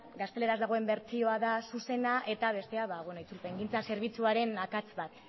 gazteleraz dagoen bertsioa da zuzena eta bestea itzulpengintza zerbitzuaren akats bat